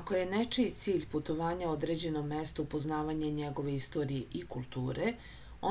ako je nečiji cilj putovanja određenom mestu upoznavanje njegove istorije i kulture